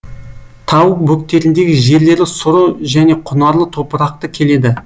тау бөктеріндегі жерлері сұры және құнарлы топырақты келеді